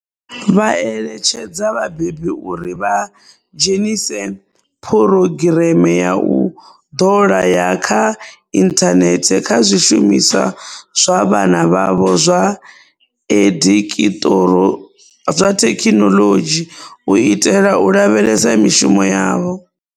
Vha eletshedza vhabebi uri vha dzhenise phurogireme ya u ḓola ya kha inthanethe kha zwishumiswa zwa vhana vhavho zwa edikiṱoro zwa thekhinoḽodzhi u itela u lavhelesa mishumo yavho.